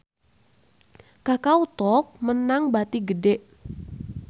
Kakao Talk meunang bati gede